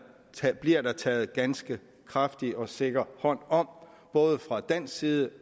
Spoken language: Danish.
bliver taget en ganske kraftig og sikker hånd om både fra dansk side